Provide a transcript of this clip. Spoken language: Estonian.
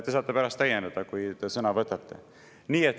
Te saate pärast täiendada, kui te sõna võtate.